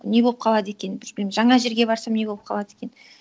не болып қалады екен бізбен жаңа жерге барсам не болып қалады екен